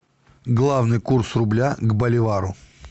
главный курс рубля к боливару